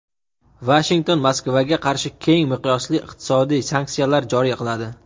Vashington Moskvaga qarshi keng miqyosli iqtisodiy sanksiyalar joriy qiladi.